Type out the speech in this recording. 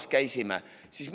Me käisime ka hullumajas.